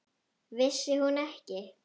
Vissi hún ekki!